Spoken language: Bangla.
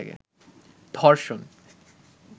ধষর্ণ